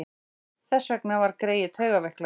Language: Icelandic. Þess vegna var greyið taugaveiklað.